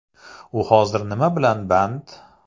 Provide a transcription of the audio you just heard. U hozir nima bilan band?